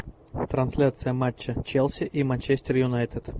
трансляция матча челси и манчестер юнайтед